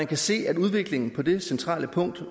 kan ses at udviklingen på det centrale punkt